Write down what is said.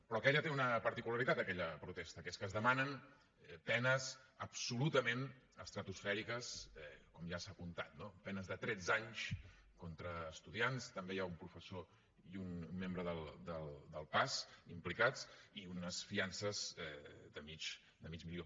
però aquella té una particularitat aquella protesta que és que es demanen penes absolutament estratosfèriques com ja s’ha apuntat no penes de tretze anys contra estudiants també hi ha un professor i un membre del pas implicats i unes fiances de mig milió